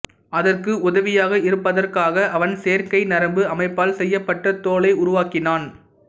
அதற்கு உதவியாக இருப்பதற்காக அவன் செயற்கை நரம்பு அமைப்பால் செய்யப்பட்ட தோலை உருவாக்கினான்